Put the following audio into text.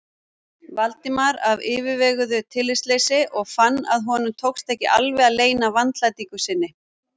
Valdimar af yfirveguðu tillitsleysi og fann að honum tókst ekki alveg að leyna vandlætingu sinni.